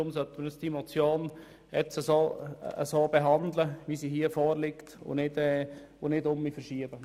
Deshalb sollten wir die Motion jetzt so behandeln, wie sie vorliegt, anstatt sie wieder zu verschieben.